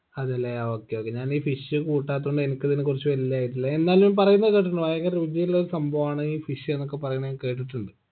അതല്ലെ ആ okay okay ഞാനീ fish കൂട്ടാത്തോണ്ട് എനിക്ക് ഇതിനെക്കുറിച്ച് വെല്യ ആയിട്ടുള്ളെ എന്നാലും പറയുന്നെ കേട്ടിട്ടുണ്ട് ഭയങ്കര രുചിയുള്ളൊരു സംഭവാണ് ഈ fish ന്നൊക്കെ പറയുന്നെ ഞാൻ കേട്ടിട്ടുണ്ട്